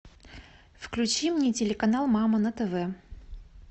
включи мне телеканал мама на тв